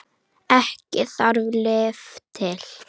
Ekki þarf lyf til.